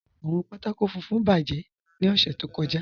Awọn pátákò fùnfún bájẹ̀ ni ọ̀ṣẹ̀ tó kọ́já.